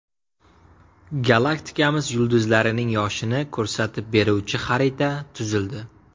Galaktikamiz yulduzlarining yoshini ko‘rsatib beruvchi xarita tuzildi.